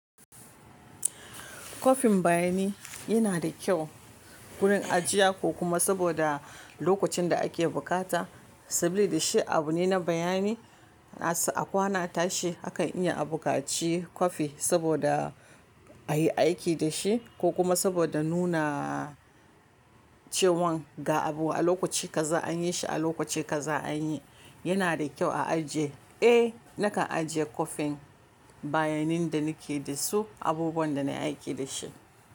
Kofin bayani yana da kyau gurin ajiya ko kuma saboda lokacin da ake bukata, sabili da shi abu ne na bayani, a kwana tashi akan iya a bukaci kofi saboda a yi aiki da shi ko kuma saboda nuna cewan ga abu a lokaci kaza an yi shi a lokaci kaza an yi, yana da kyau a ajiye. Eh, nakan ajiye kofin bayanin da nike da su abubuwan da na aiki da shi.